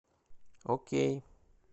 окей